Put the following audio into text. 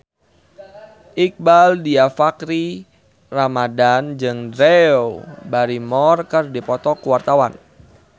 Iqbaal Dhiafakhri Ramadhan jeung Drew Barrymore keur dipoto ku wartawan